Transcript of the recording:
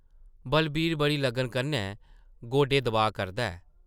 बलवीर बड़ी लगन कन्नै गोडे दबाऽ करदा ऐ ।